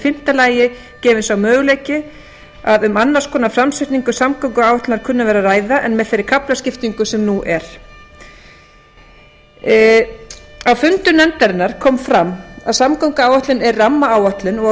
fimmta lagi gefst möguleiki á annars konar framsetningu samgönguáætlunar en með þeirri kaflaskiptingu sem nú er á fundum nefndarinnar kom fram að samgönguáætlun er rammaáætlun og að